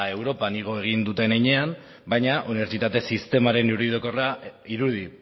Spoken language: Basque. europan igo egin dutenean baina unibertsitate sistemaren irudi